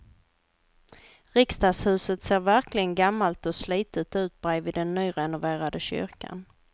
Riksdagshuset ser verkligen gammalt och slitet ut bredvid den nyrenoverade kyrkan.